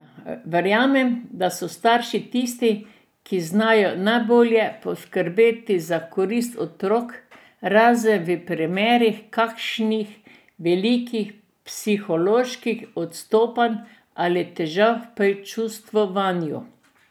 Verjamem, da so starši tisti, ki znajo najbolje poskrbeti za koristi otrok, razen v primerih kakšnih velikih psiholoških odstopanj ali težav pri čustvovanju.